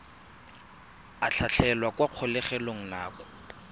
a tlhatlhelwa kwa kgolegelong nako